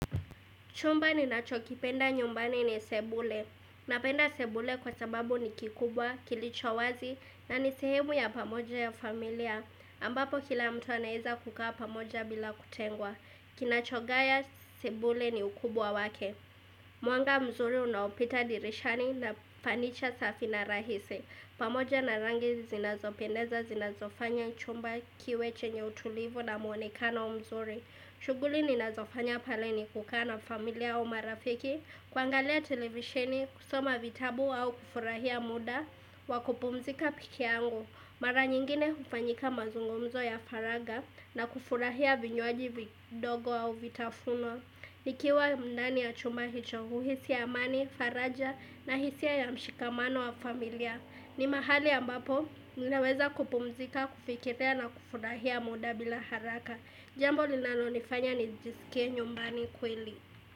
Chumba ni nacho kipenda nyumbani ni sebule. Napenda sebule kwa sababu ni kikubwa, kilicho wazi na nisehemu ya pamoja ya familia. Ambapo kila mtu anaeza kukaa pamoja bila kutengwa. Kinachogaya sebule ni ukubwa wake. Mwanga mzuri unaopita dirishani na fanicha safi na rahisi. Pamoja na rangi zinazopendeza, zinazofanya chumba kiwe chenye utulivu na muonekano mzuri. Shughuli ninazofanya pale ni kukaa na familia au marafiki, kuangalia televisheni, kusoma vitabu au kufurahia muda, wakupumzika pekee yangu. Mara nyingine hufanyika mazungumzo ya faraga na kufurahia vinywaji vidogo au vitafunwa. Nikiwa ndani ya chuma hicho, huhisi amani, faraja na hisia ya mshikamano wa familia. Ni mahali ambapo, ninaweza kupumzika, kufikiria na kufurahia muda bila haraka. Jambo linalo nifanya nijisikie nyumbani kweli.